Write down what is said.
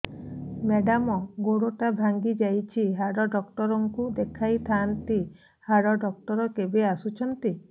madam ଗୋଡ ଟା ଭାଙ୍ଗି ଯାଇଛି ହାଡ ଡକ୍ଟର ଙ୍କୁ ଦେଖାଇ ଥାଆନ୍ତି ହାଡ ଡକ୍ଟର କେବେ ଆସୁଛନ୍ତି